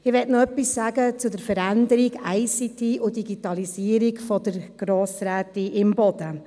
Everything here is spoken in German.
Ich möchte noch etwas sagen zum Votum von Grossrätin Imboden bezüglich der Veränderung durch ICT und Digitalisierung: